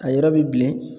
A yɔrɔ bilen